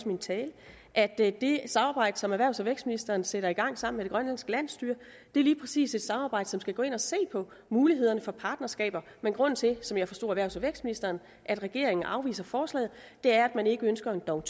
min tale at det samarbejde som erhvervs og vækstministeren sætter i gang sammen grønlandske landsstyre lige præcis er et samarbejde som skal gå ind og se på mulighederne for partnerskaber men grunden til som jeg forstod erhvervs og vækstministeren at regeringen afviser forslaget er at man ikke ønsker en dong